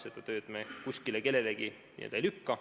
Seda tööd me kellelegi teisele ei lükka.